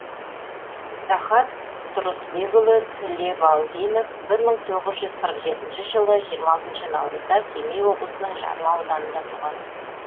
рахат тұрысбекұлы тілебалдинов бір мың тоғыз жүз қырық жетінші жылы жиырма алтыншы наурызда семей облысының жарма ауданында туған